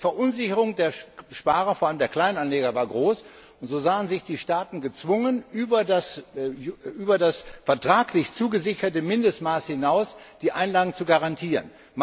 Die Verunsicherung der Sparer, vor allem der Kleinanleger, war groß, und so sahen sich die Staaten gezwungen, die Einlagen über das vertraglich zugesicherte Mindestmaß hinaus zu garantieren.